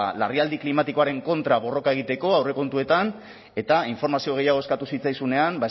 larrialdi klimatikoaren kontra borroka egiteko aurrekontuetan eta informazio gehiago eskatu zitzaizunean